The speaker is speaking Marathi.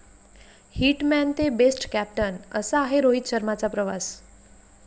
हिट मॅन ते बेस्ट कॅप्टन, असा आहे रोहित शर्माचा प्रवास